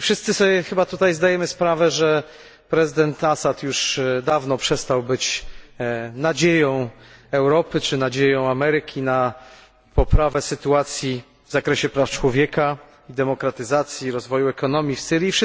Wszyscy sobie tutaj chyba zdajemy sprawę, że prezydent Assad już dawno przestał być nadzieją Europy czy nadzieją Ameryki na poprawę sytuacji w zakresie praw człowieka i demokratyzacji, rozwoju ekonomii w Syrii.